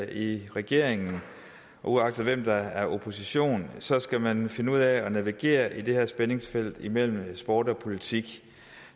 i regering at uagtet hvem der er i opposition så skal man finde ud af at navigere i det her spændingsfelt imellem sport og politik